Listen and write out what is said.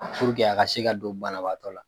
a ka se ka don banabaatɔ la.